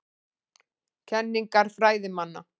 Kenningar fræðimanna.